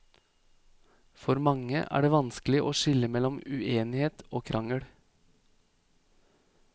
For mange er det vanskelig å skille mellom uenighet og krangel.